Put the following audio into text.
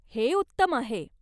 हे उत्तम आहे.